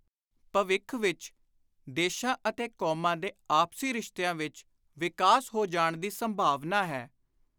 ਭਵਿੱਖ ਵਿਚ ਦੇਸ਼ਾਂ ਅਤੇ ਕੌਮਾਂ ਦੇ ਆਪਸੀ ਰਿਸ਼ਤਿਆਂ ਵਿਚ ਵਿਕਾਸ ਹੋ ਜਾਣ ਦੀ ਸੰਭਾਵਨਾ ਹੈ।